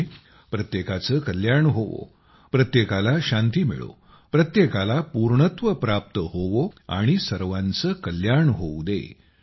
म्हणजे प्रत्येकाचे कल्याण होवो प्रत्येकाला शांती मिळो प्रत्येकाला पूर्णत्व प्राप्त होवो आणि सर्वांचे कल्याण होऊ दे